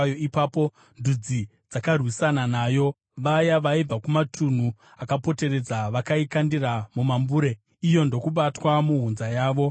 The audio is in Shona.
Ipapo ndudzi dzakarwisana nayo, vaya vaibva kumatunhu akapoteredza. Vakaikandira mambure, iyo ndokubatwa muhunza yavo.